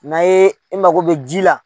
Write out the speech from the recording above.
N'a ye i mako bɛ ji la